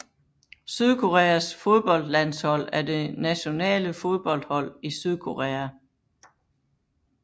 Sydkoreas fodboldlandshold er det nationale fodboldhold i Sydkorea